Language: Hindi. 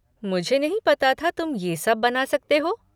मुझे नहीं पता था तुम ये सब बना सकते हो।